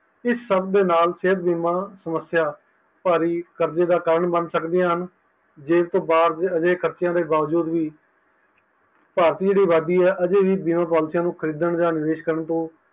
ਇਸ ਸਭ ਦੇ ਨਾਲ ਸੇਹਤ ਬੀਮਾ ਸਮਸਿਆਂ ਬਾਰੀ ਕਰਜੇ ਦਾ ਕਰਨ ਬਨ ਸਕਦੀ ਹੈ ਅਤੇ ਜੇਬ ਤੋਂ ਬਾਹਰ ਅਜੇਹਕ ਖਰਚਿਆਂ ਦੇ ਬਾਵਜੂਦ ਵੀ ਭਾਰਤ ਦੀ ਜੇਹੜੀ ਅਬਾਦੀ ਹੈ ਅਜੇ ਵੀ ਬੀਮਾ policy ਨੂੰ ਖਰੀਦਣ ਯ ਵੇਚਣ